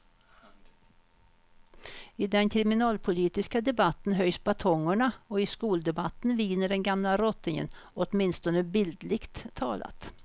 I den kriminalpolitiska debatten höjs batongerna och i skoldebatten viner den gamla rottingen, åtminstone bildligt talat.